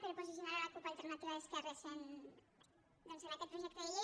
per posicionar la cup alternativa d’esquerres doncs en aquest projecte de llei